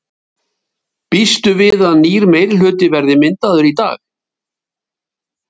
Fréttamaður: Býstu við að nýr meirihluti verði myndaður í dag?